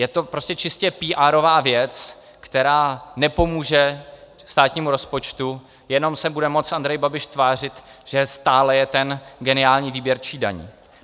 Je to prostě čistě píárová věc, která nepomůže státnímu rozpočtu, jenom se bude moct Andrej Babiš tvářit, že stále je ten geniální výběrčí daní.